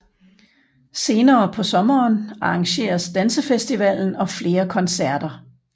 Senere på sommeren arrangeres dansefestivalen og flere koncerter